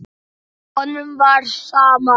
Honum var sama.